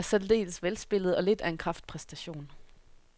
Filmen er særdeles velspillet og lidt af en kraftpræstation.